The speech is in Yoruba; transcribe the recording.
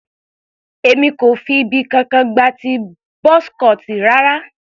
Èmi kò fi ibì kankan gba ti buzz cut rara.